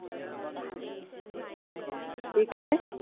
ਕੀ ਕਹਿਣ ਡਏ?